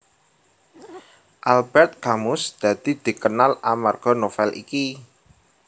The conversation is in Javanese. Albert Camus dadi dikenal amarga novel iki